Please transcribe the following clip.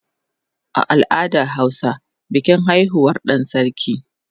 A al'adar hausa bikin haihuwar dan sarki